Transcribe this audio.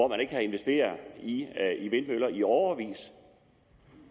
man ikke har investeret i vindmøller i årevis